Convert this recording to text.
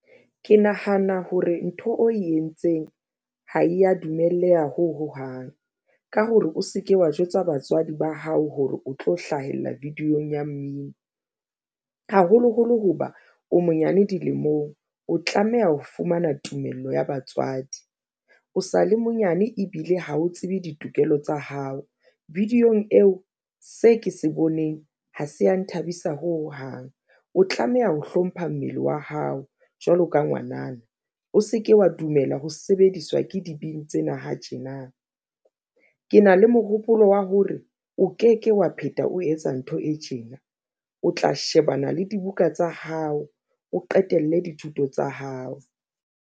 Ke nahana hore ntho o e entseng ha e ya dumelleha ho hohang ka hore o se ke wa jwetsa batswadi ba hao hore o tlo hlahella video-ng ya mmino haholoholo hoba o monyane dilemong, o tlameha ho fumana tumello ya batswadi o sale monyane ebile ha o tsebe ditokelo tsa hao video -ng eo se ke se boneng, ha se ya nthabisa hohang. O tlameha ho hlompha mmele wa hao jwalo ka ngwanana. O se ke wa dumela ho sebediswa ke dibini tsena ha tjena, ke na le mohopolo wa hore o ke ke wa phetha o etsa ntho e tjena o tla shebana le dibuka tsa hao, o qetelle dithuto tsa hao.